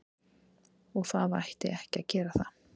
Og það ætti ekki að gera það.